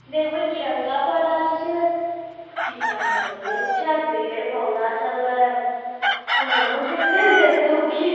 देख भाई किरनका पढ़ाई से डिज़ाइन त बढ़िया छै पेड़ पौधा सब है फोनो देखे देतौ की।